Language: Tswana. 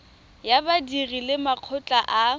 ya badiri le makgotla a